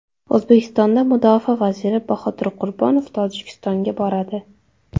O‘zbekiston mudofaa vaziri Bahodir Qurbonov Tojikistonga boradi.